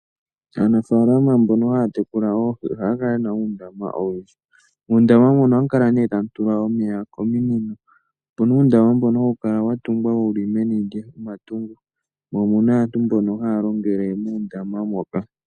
Aanafaalama mbono haya tekula oohi ohaya kala ye na uundama owundji. Muundama mbuno ohamu kala nee tamu tulwa omeya kominino. Opu na uundama mbono hawu kala wa tungwa wuli meni lyomatungo, mo omuna aantu mbono haya longele muundama moka.